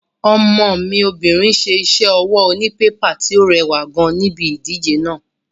Ọmọ mi obìnrin ṣe iṣẹ́ ọwọ́ onípépà tí ó rẹwà gan níbi ìdíje náà.